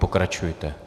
Pokračujte.